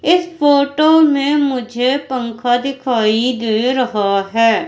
इस फोटो में मुझे पंखा दिखाई दे रहा है।